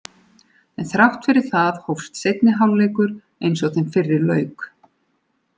En þrátt fyrir það hófst seinni hálfleikur eins og þeim fyrri lauk.